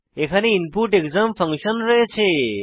এখানে input exam function রয়েছে